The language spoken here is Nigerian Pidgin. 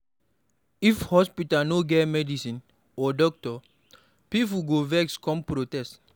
If hospital no get medicine or doctor, pipo go vex come protest